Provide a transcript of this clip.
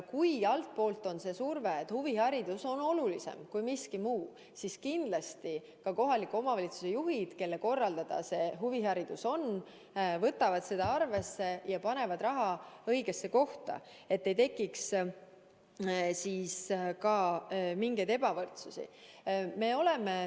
Kui altpoolt on surve, et huviharidus on olulisem kui miski muu, siis kindlasti ka kohaliku omavalitsuse juhid, kelle korraldada huviharidus on, võtavad seda arvesse ja panevad raha õigesse kohta, et ei tekiks mingit ebavõrdsust.